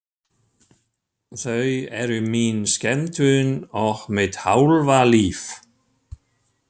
Þau eru mín skemmtun og mitt hálfa líf.